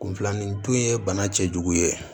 Kunfilanintu ye bana cɛjugu ye